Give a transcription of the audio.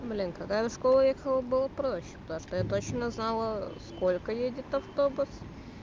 блин когда я в школу ехала было проще потому что я точно знала в сколько едет автобус